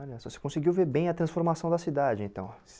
Olha, você conseguiu ver bem a transformação da cidade então.